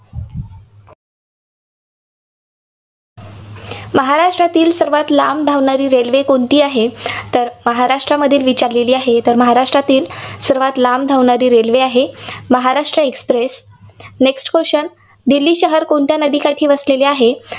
महाराष्ट्रातील सर्वांत लांब धावणारी railway कोणती आहे? तर महाराष्ट्रातील विचारलेली आहे. तर महाराष्ट्रातील सर्वांत लांब धावणारी रेल्वे आहे, Maharashtra Express. next question Delhi शहर कोणत्या नदीकाठी वसलेले आहे?